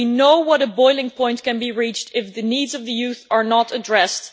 We know what a boiling point can be reached if the needs of young people are not addressed.